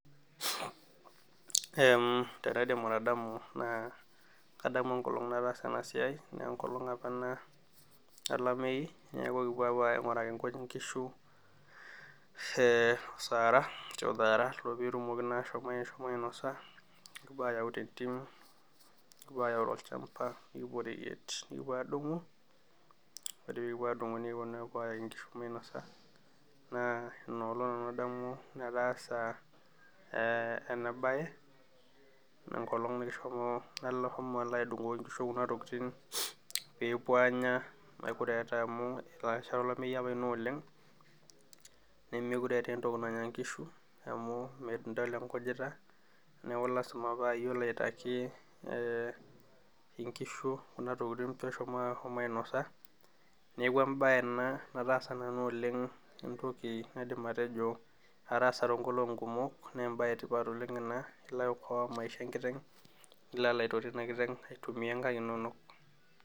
Kaidim atadamu enkolong nataasa enasia na enkolong apa olameyu neaku ekipuo aingiraki nkujit nkishu petum ashomo ainosa nimipuo ayau tentim nikipuo ayau tolchamba nikipuo adumu nikipuo adumu nkishu minosa inoolong adamu ataasa enabae na enkolong nashomo adumu nkishu pepuo anya amu enkata olameyu ena nemekute eta entoki nanya nkishu midol enkujita neaku lasima pa iyie olo aitaki nkishu neaku embae ena naidim atejo ataasa oleng ne embae etipat ena niko aitoto enkiteng aitumia nkujit